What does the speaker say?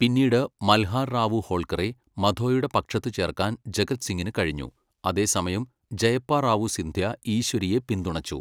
പിന്നീട്, മൽഹാർ റാവു ഹോൾക്കറെ മധോയുടെ പക്ഷത്ത് ചേർക്കാൻ ജഗത് സിംഗിന് കഴിഞ്ഞു, അതേസമയം ജയപ്പ റാവു സിന്ധ്യ ഈശ്വരിയെ പിന്തുണച്ചു.